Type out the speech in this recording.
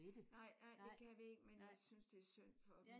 Nej nej det kan vi ikke. Men jeg synes det er synd for dem